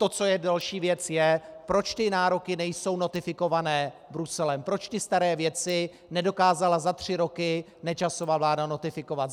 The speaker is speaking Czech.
To, co je další věc, je, proč ty nároky nejsou notifikované Bruselem, proč ty staré věci nedokázala za tři roky Nečasova vláda notifikovat.